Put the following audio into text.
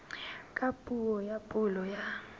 ka puo ya pulo ya